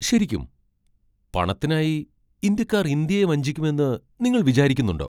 ശരിക്കും? പണത്തിനായി ഇന്ത്യക്കാർ ഇന്ത്യയെ വഞ്ചിക്കുമെന്ന് നിങ്ങൾ വിചാരിക്കുന്നുണ്ടോ ?